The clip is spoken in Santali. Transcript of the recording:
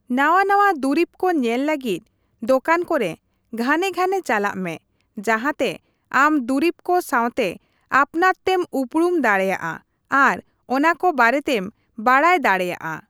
ᱱᱟᱣᱟᱼᱱᱟᱣᱟ ᱫᱩᱨᱤᱵ ᱠᱚ ᱧᱮᱞ ᱞᱟᱹᱜᱤᱫ ᱫᱚᱠᱟᱱ ᱠᱚᱨᱮ ᱜᱷᱟᱱᱮᱼᱜᱷᱟᱱᱮ ᱪᱟᱞᱟᱜ ᱢᱮ ᱡᱟᱦᱟᱸ ᱛᱮ ᱟᱢ ᱫᱩᱨᱤᱵᱽ ᱠᱚ ᱥᱟᱶᱛᱮ ᱟᱯᱱᱟᱨᱛᱮᱢ ᱩᱯᱩᱨᱩᱢ ᱫᱟᱲᱮᱭᱟᱜᱼᱟ ᱟᱨ ᱚᱱᱟᱠᱚ ᱵᱟᱨᱮᱛᱮᱢ ᱵᱟᱰᱟᱭ ᱫᱟᱲᱮᱭᱟᱜᱼᱟ ᱾